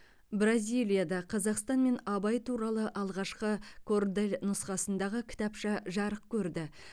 бразилияда қазақстан мен абай туралы алғашқы кордель нұсқасындағы кітапша жарық көрді